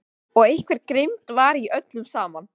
Og einhver grimmd var í öllu saman.